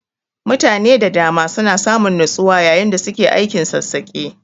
Mutane da dama suna samun natsuwa yayin da suke aikin sassaƙe.